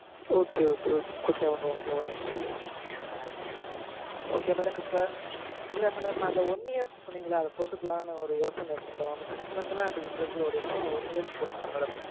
okay okay okay madam okay madam okay madam இப்போ இல்ல madam அந்த one year க்கு சொன்னீங்கல்ல அத போட்டுக்கலாம்னு ஒரு யோசனை இருக்கு madam six month னா இப்படீன்றதுக்குள்ள ஓடிரும். one year க்கு போட்டுக்கலாம் madam